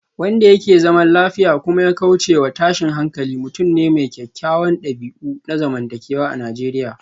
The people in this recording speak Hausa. Wanda yake zaman lafiya kuma ya kaucewa tashin hankali mutum ne mai kyawawan dabi'u na zamantakewa a Najeriya